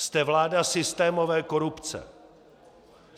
Jste vláda systémové korupce.